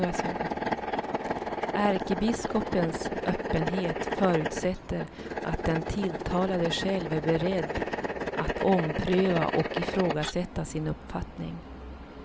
Ärkebiskopens öppenhet förutsätter att den tilltalade själv är beredd att ompröva och ifrågasätta sin uppfattning.